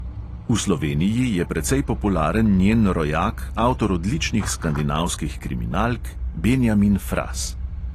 V sloveniji je precej popularen njen rojak, avtor odličnih skandinavskih kriminalk, benjamin fras.